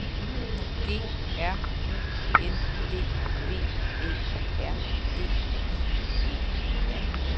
G R U N D V Æ R D I E R